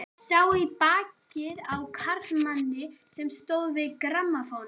Sá í bakið á karlmanni sem stóð við grammófóninn.